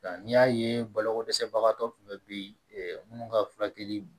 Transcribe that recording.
Nka n'i y'a ye baloko dɛsɛbagatɔ kun bɛ bi minnu ka furakɛli